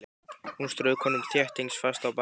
Hún strauk honum þéttingsfast á bakið.